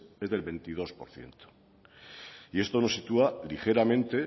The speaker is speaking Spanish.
es del veintidós por ciento y esto nos sitúa ligeramente